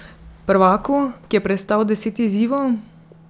Prvaku, ki je prestal deset izzivov?